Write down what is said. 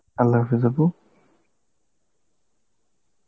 Arbi আপু.